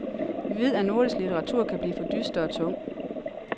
Vi ved, at nordisk litteratur kan blive for dyster og tung.